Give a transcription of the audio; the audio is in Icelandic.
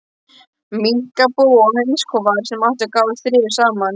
Minkabú og hænsnakofar, sem ekki gátu þrifist saman.